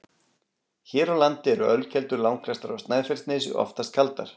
Hér á landi eru ölkeldur langflestar á Snæfellsnesi, oftast kaldar.